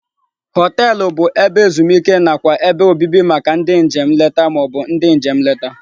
Họteelụ bụ ebe ezumike nakwa ebe obibi maka ndị njem nleta ma ọ bụ ndị njem nleta.